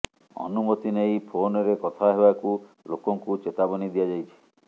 ଅନୁମତି ନେଇ ଫୋନରେ କଥା ହେବାକୁ ଲୋକଙ୍କୁ ଚେତାବନୀ ଦିଆଯାଇଛି